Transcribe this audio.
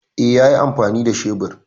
E, yayi amfani da shebir.